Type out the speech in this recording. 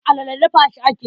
Alala dafa shi ake yi.